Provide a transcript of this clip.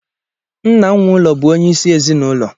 Nna nwe ụlọ bụ onye isi ezinụlọ